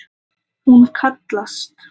Hún kallast